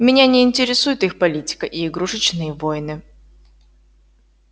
меня не интересует их политика и игрушечные войны